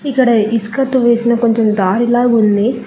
ఇక్కడ ఇసుకతో వేసిన కొంచెం దారిలాగుంది.